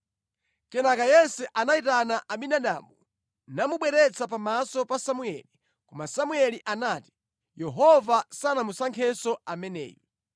Kenaka Yese anayitana Abinadabu namubweretsa pamaso pa Samueli. Koma Samueli anati, “Yehova sanamusankhenso ameneyu.”